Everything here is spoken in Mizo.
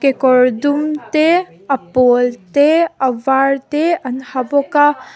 kekawr dum te a pawl te a var te an ha bawk a.